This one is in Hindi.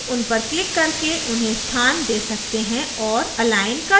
आप उनपर click करके उन्हें स्थान दे सकते हैं और अलाइन कर सकते हैं